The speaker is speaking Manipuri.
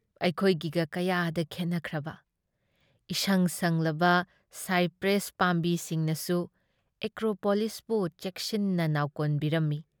ꯑꯩꯈꯣꯏꯒꯤꯒ ꯀꯌꯥꯗ ꯈꯦꯟꯅꯈ꯭ꯔꯕ! ꯏꯁꯪ ꯁꯪꯂꯕ ꯁꯥꯏꯄ꯭ꯔꯦꯁ ꯄꯥꯝꯕꯤꯁꯤꯡꯅꯁꯨ ꯑꯦꯀ꯭ꯔꯣꯄꯣꯂꯤꯁꯄꯨ ꯆꯦꯛꯁꯤꯟꯅ ꯅꯥꯎꯀꯣꯟꯕꯤꯔꯝꯃꯤ꯫